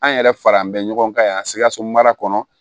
An yɛrɛ fara an bɛ ɲɔgɔn kan yan sikaso mara kɔnɔ